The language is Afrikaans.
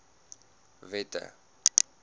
wette